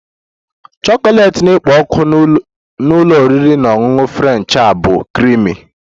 Chocolate na-ekpo ọkụ na ụlọ oriri na ọṅụṅụ French a bụ creamy